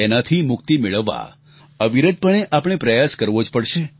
તેનાથી મુક્તિ મેળવવા અવિરતપણે આપણે પ્રયાસ કરવો જ પડશે